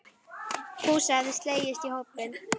Fúsi hafði slegist í hópinn.